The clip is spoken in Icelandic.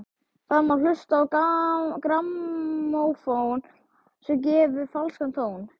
Þar má hlusta á grammófón sem að gefur falskan tón.